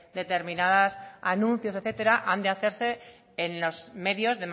determinados anuncios etcétera han de hacerse en los medios